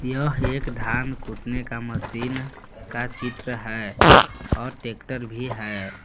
यह एक धान कूटने का मशीन का चित्र है और ट्रैक्टर भी है।